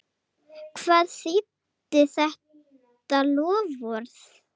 Hvað þýddi þetta loforð?